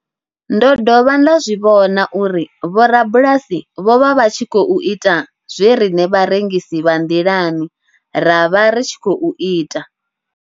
Ndo dovha nda zwi vhona uri vhorabulasi vho vha vha tshi khou ita zwe riṋe vharengisi vha nḓilani ra vha ri tshi khou ita.